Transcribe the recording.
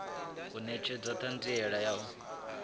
u netshedza thanziela ya u